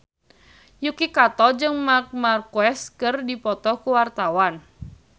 Yuki Kato jeung Marc Marquez keur dipoto ku wartawan